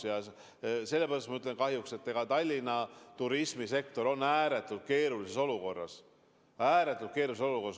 Ütlen sellepärast "kahjuks", et Tallinna turismisektor on ääretult keerulises olukorras.